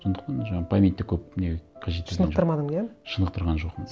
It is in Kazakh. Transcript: сондықтан жаңағы памятьт і көп не қажеттелген жоқ шынықтырмадың иә шынықтырған жоқпын